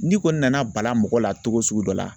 N'i kɔni nana bala mɔgɔ la cogo sugu dɔ la